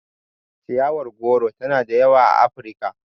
Ciyawar goro tana da yawa a Afirika.